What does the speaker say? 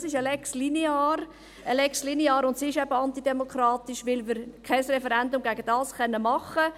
Das ist eine Lex linear, eine Lex linear, und sie ist eben antidemokratisch, weil wir kein Referendum gegen dies machen können.